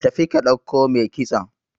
tafi ka dauko mai kitson!